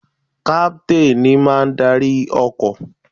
Captain ní máà ń arí ọkọ̀.